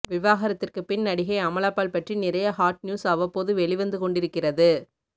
விவாகரத்திற்கு பின் நடிகை அமலாபால் பற்றி நிறைய ஹாட் நியூஸ் அவ்வப்போது வெளிவந்துக்கொண்டிருக்கிறது